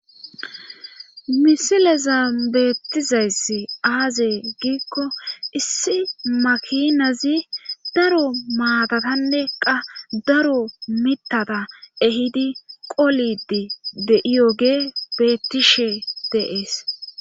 misileza beettizayssi aazey giikko issi makinazi daro maatatanne qa daro mittata ehidi qolidi de7iyogee bettishe dees.